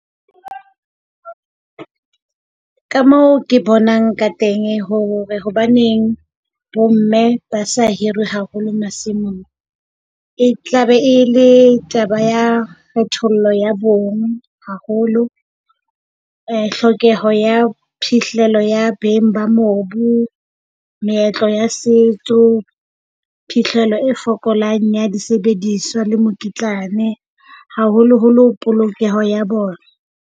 Ka moo ke bonang ka teng hore hobaneng bomme ba se hirwe haholo masimong, e tlabe e le taba ya kgethollo ya bong haholo. Eh tlhokeho ya phihlelo ya beng ba mobu, meetlo ya setso, phihlelo e fokolang ya disebediswa le mokitlane, haholoholo polokeho ya bona.